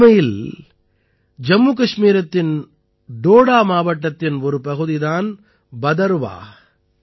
உண்மையில் ஜம்முகஷ்மீரத்தின் டோடா மாவட்டத்தின் ஒரு பகுதி தான் பதர்வாஹ்